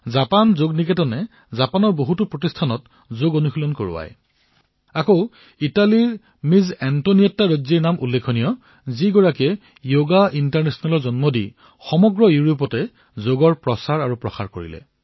Japan Yog Niketan তাৰে বহু প্ৰতিষ্ঠান আৰু প্ৰশিক্ষণ কাৰ্যসূচী চলায় অথবা ইটালীৰ এণ্টনিয়েট্টা ৰজ্জিৰ নামেই লওক তেওঁ সৰ্ব যোগ ইণ্টাৰনেচনেলৰ শুভাৰম্ভ কৰিছে আৰু সমগ্ৰ ইউৰোপত যোগৰ প্ৰচাৰ কৰিছে